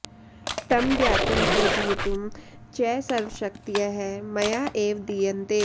तं ज्ञातुं पूजयितुं च सर्वशक्तयः मया एव दीयन्ते